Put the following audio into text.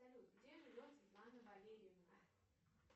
салют где живет светлана валерьевна